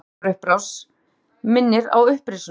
Hver sólarupprás minnir á upprisuna.